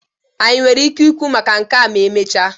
anyị nwere ike ikwu maka nke a ma emechaa?